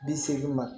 Bi seegin ma